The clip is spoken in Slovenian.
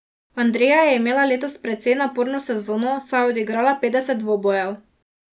Andreja je imela letos precej naporno sezono, saj je odigrala petdeset dvobojev.